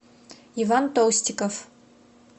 иван толстиков